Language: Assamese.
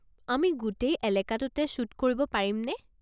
আমি গোটেই এলেকাটোতে শ্বুট কৰিব পাৰিমনে?